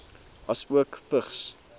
asook vigs